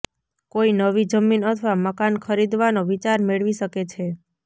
કોઈ નવી જમીન અથવા મકાન ખરીદવાનો વિચાર મેળવી શકે છે